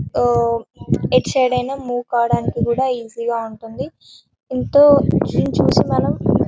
ఆహ్ ఎటు సైడ్ అయినా మూవ్ కావడానికి కూడా ఈజీ గ ఉంటుంది ఎంతో ఇది చూసి మనం --